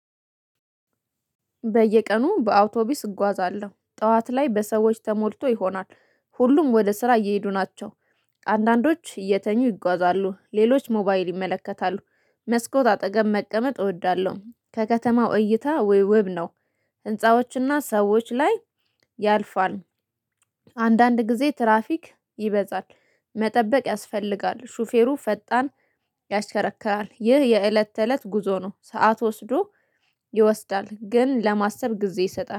በየቀኑ በአውቶቡስ እጓዛለሁ ጠዋት ላይ በሰዎች ተሞልቶ ይሆናል ሁሉም ወደ ስራ እየሄዱ ናቸው። አንዳንዶች እየተኙ ይጓዛሉ ሌሎች ሞባይል ይመለከታሉ መስኮት አጠገብ መቀመጥ እወዳለሁ ከከተማው እይታ ውይ ውብ ነው። ህንፃዎችና ሰዎች ላይ ያልፋል። አንዳንድ ጊዜ ትራፊክ ይበዛል። መጠበቅ ያስፈልጋል ሹፌሩ ፈጣን ያሽከረክራል ይህ የእለት ተእለት ጉዞ ነው። ሰዓት ወስዶ ይወስዳል ግን ለማሰብ ጊዜ ይሰጣል